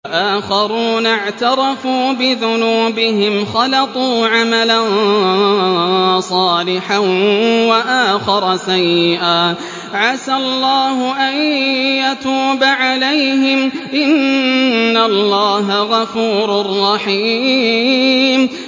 وَآخَرُونَ اعْتَرَفُوا بِذُنُوبِهِمْ خَلَطُوا عَمَلًا صَالِحًا وَآخَرَ سَيِّئًا عَسَى اللَّهُ أَن يَتُوبَ عَلَيْهِمْ ۚ إِنَّ اللَّهَ غَفُورٌ رَّحِيمٌ